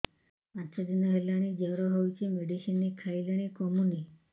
ପାଞ୍ଚ ଦିନ ହେଲାଣି ଜର ହଉଚି ମେଡିସିନ ଖାଇଲିଣି କମୁନି